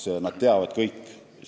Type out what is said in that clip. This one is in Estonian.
Nad kõik teavad seda.